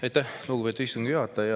Aitäh, lugupeetud istungi juhataja!